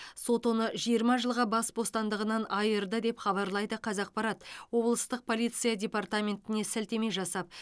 сот оны жиырма жылға бас бостандығынан айырды деп хабарлайды қазақпарат облыстық полиция департаментіне сілтеме жасап